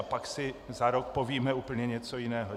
A pak si za rok povíme úplně něco jiného.